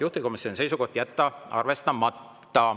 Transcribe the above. Juhtivkomisjoni seisukoht: jätta arvestamata.